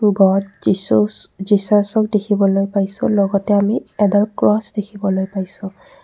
God যীশুচ যীচাছক দেখিবলৈ পাইছোঁ লগতে আমি এডাল ক্ৰছ দেখিবলৈ পাইছোঁ।